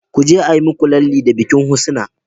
kuje ayi muku lalle da bikin husna